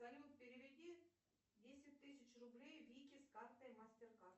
салют переведи десять тысяч рублей вике с карты мастеркард